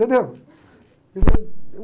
entendeu?